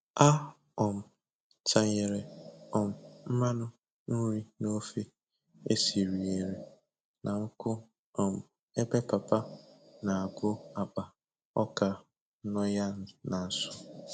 A um tanyere um mmanụ nri n'ofe e sinyere na nkụ um ebe papa na-agụ akpa ọka nọ ya na nso